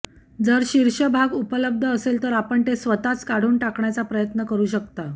जर शीर्ष भाग उपलब्ध असेल तर आपण ते स्वतःच काढून टाकण्याचा प्रयत्न करु शकता